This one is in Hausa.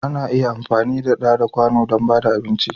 Ana iya amfani da da kwanu dan bada abinci.